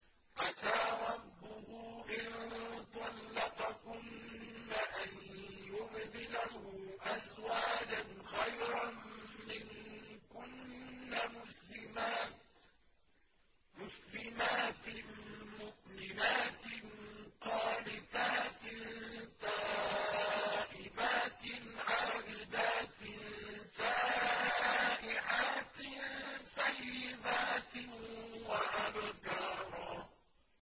عَسَىٰ رَبُّهُ إِن طَلَّقَكُنَّ أَن يُبْدِلَهُ أَزْوَاجًا خَيْرًا مِّنكُنَّ مُسْلِمَاتٍ مُّؤْمِنَاتٍ قَانِتَاتٍ تَائِبَاتٍ عَابِدَاتٍ سَائِحَاتٍ ثَيِّبَاتٍ وَأَبْكَارًا